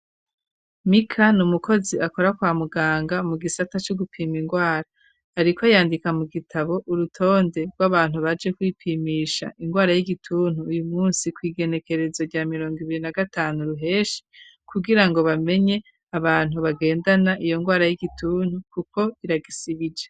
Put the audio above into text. Mika n'umukozi akora kwa muganga mu gisata co gupima ingwara ariko yandika mu gitabo urutonde rw'abantu baje kwipimisha ingwara y'igituntu uyu munsi kw'igenekerezo rya mirongo ibiri na gatanu ruheshi kugira ngo bamenye abantu bagendana iyo ngwara y'igituntu kuko iragisibije.